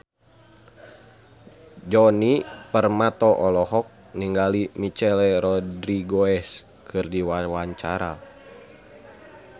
Djoni Permato olohok ningali Michelle Rodriguez keur diwawancara